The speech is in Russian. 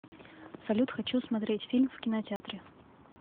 салют хочу смотреть фильм в кинотеатре